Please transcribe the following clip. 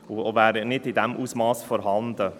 Er wäre nicht in diesem Ausmass vorhanden.